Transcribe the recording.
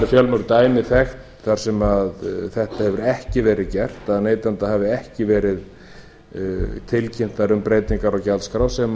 fjölmörg dæmi þekkt þar sem þetta hefur ekki verið gert að neytanda hafi ekki verið tilkynnt um breytingar á gjaldskrá sem